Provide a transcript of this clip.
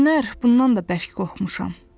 Bu günlər bundan da bərk qorxmuşam.